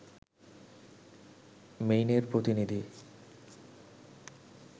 মেইনের প্রতিনিধি